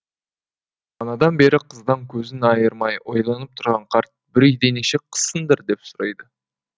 манадан бері қыздан көзін айырмай ойланып тұрған қарт бір үйде неше қызсыңдар деп сұрайды